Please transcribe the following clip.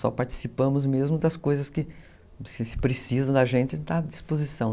Só participamos mesmo das coisas que se precisa da gente, está à disposição.